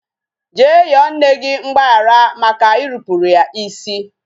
Jee yọọ nne gị mgbaghara maka irupuru ya isi